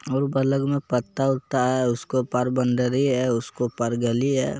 और बगल में पत्ता वता है उसके ऊपर बंदरी है उसके ऊपर गली है ।